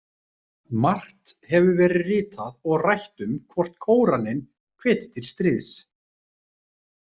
Margt hefur verið ritað og rætt um hvort Kóraninn hvetji til stríðs.